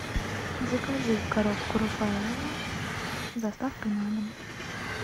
закажи коробку рафаэлло с доставкой на дом